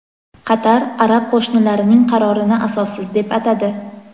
Qatar arab qo‘shnilarining qarorini asossiz deb atadi.